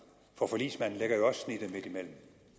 for forligsmanden lægger jo også snittet midtimellem